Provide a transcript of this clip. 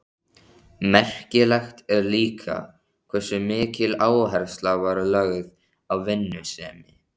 Merkilegt er líka hversu mikil áhersla var lögð á vinnusemi.